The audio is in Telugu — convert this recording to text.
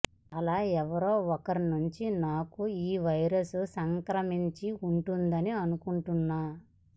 అలా ఎవరో ఒకరి నుంచి నాకు ఈ వైరస్ సంక్రమించి ఉంటుందని అనుకుంటున్నా